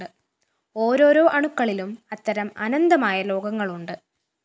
ഓരോരോ അണുക്കളിലും അത്തരം അനന്തമായ ലോകങ്ങളുണ്ട്